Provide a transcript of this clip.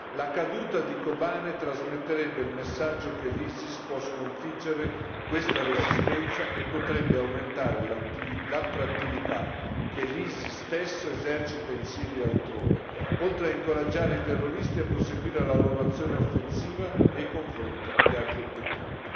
La caduta di Kobane trasmetterebbe il messaggio che l'ISIS può sconfiggere questa resistenza e potrebbe aumentare l'attrattività che l'ISIS stesso esercita in Siria e altrove, oltre a incoraggiare i terroristi a proseguire la loro azione offensiva nei confronti di altri obiettivi.